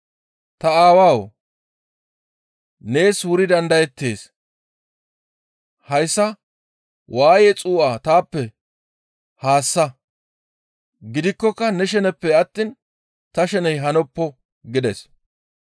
«Ta Aawawu! Nees wuri dandayettees; hayssa waaye xuu7a taappe haassa. Gidikkoka ne sheneppe attiin ta sheney hanoppo» gides.